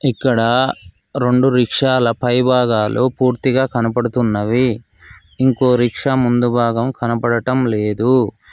ఇక్కడ రెండు రిక్షాల పై భాగాలు పూర్తిగా కనబడుతున్నవి ఇంకో రిక్షా ముందు భాగం కనబడటం లేదు.